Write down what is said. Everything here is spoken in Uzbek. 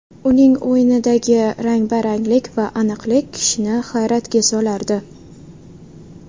Uning o‘yinidagi rang baranglik va aniqlik kishini hayratga solardi.